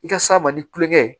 I ka s'a ma ni kulonkɛ ye